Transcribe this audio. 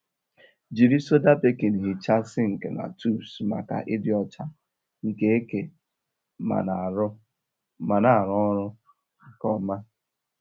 Jiri soda baking hichaa sink na tubs maka ịdị ọcha nke eke ma na-arụ ọrụ nke ọma.